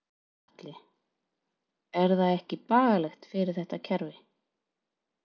Gunnar Atli: Er það ekki bagalegt fyrir þetta kerfi?